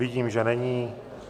Vidím, že není.